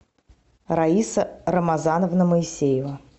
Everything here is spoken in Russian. раиса рамазановна моисеева